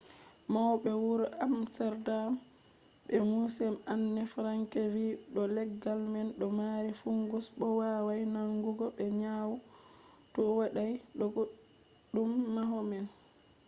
maube wuro amsterdam be museum anne frank vi do leggal man do mari fungus bo wawai nangugo be nyawu to wadai kodume hado man